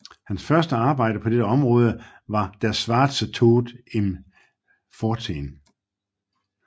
Hans første arbejde på dette område var Der schwarze Tod im 14